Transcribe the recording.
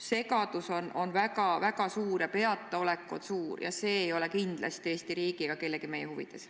Segadus ja peataolek on väga suur, aga see ei ole kindlasti Eesti riigi ega kellegi meie huvides.